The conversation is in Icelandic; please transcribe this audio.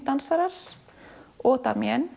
dansarar og